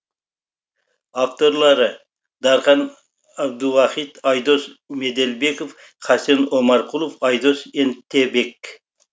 авторлары дархан әбдуахит айдос меделбеков хасен омарқұлов айдос ентебек